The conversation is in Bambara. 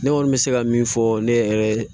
Ne kɔni bɛ se ka min fɔ ne yɛrɛ ye